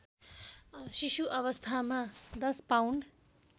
शिशुअवस्थामा १० pound